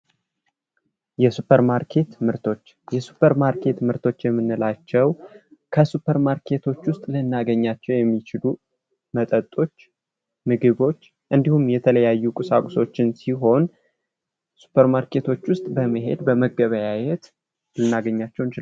የሱፐርማርኬት ምርቶች:- የሱፐርማርኬት ምርቶች የምንላቸው ከሱፐርማርኬት ውስጥ ልናገኛቸው የምንችለው የተለያዩ መጠጦች ምግቦች እንዲሁም የተለያዩ ቁሳቁሶችን ሲሆን ሱፐርማርኬት ውስጥ በመሄድ፥ በመገበያየት ልናገኛቸው እንችላለን።